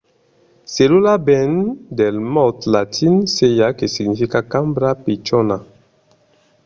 cellula ven del mot latin cella que significa cambra pichona